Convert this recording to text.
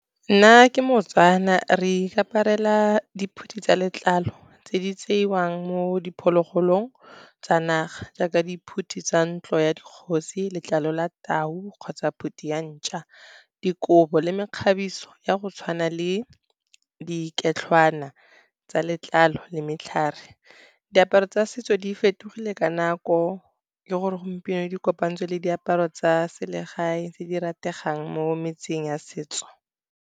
Nna ke moTswana, re ikaparela diphuti tsa letlalo tse di tseiwang mo diphologolong tsa naga, jaaka diphuthi tsa ntlo ya dikgosi, letlalo la tau kgotsa phute ya ntšhwa, dikobo le mekgabiso ya go tshwana le diketlhwana tsa letlalo le matlhare. Diaparo tsa setso di fetogile ka nako, mme gompieno di kopantswe le diaparo tsa selegae tse di rategang mo metseng ya setso.